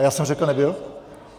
A já jsem řekl nebyl?